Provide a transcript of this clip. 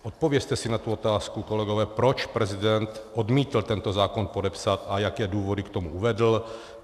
Odpovězte si na tu otázku, kolegové, proč prezident odmítl tento zákon podepsat a jaké důvody k tomu uvedl.